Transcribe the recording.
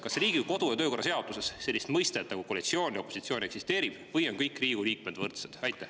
Kas Riigikogu kodu- ja töökorra seaduses üldse eksisteerib selliseid mõisteid nagu koalitsioon ja opositsioon või on kõik Riigikogu liikmed võrdsed?